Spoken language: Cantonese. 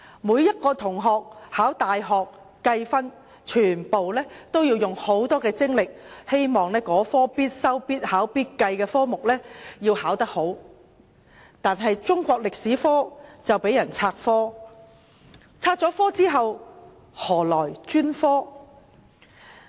每名考大學入學試的同學，均竭力考好這門必修、必考及必計的科目，但中史科卻被"拆科"，要與其他科目合併教授，失去專科的地位。